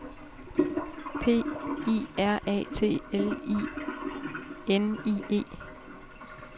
P I R A T L I N I E